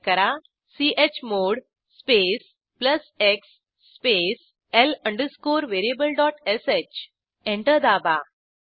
type करा chmod space plus x space l variablesh enter दाबा